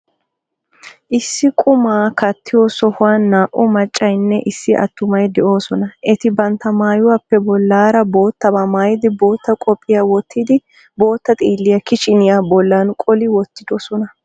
Issi qumaa kattiyo sohuwan naa''u maccaynne issi attumay de'oosona. Eti bantta maayuwaappe bollaara boottaba maayidi, bootta qophiya wottidi ,bootta xiilliya kichiniya bollan qoli wottidosona.